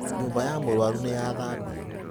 Nyũmba ya mũrũaru nĩyathabio.